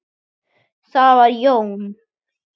Það var Jón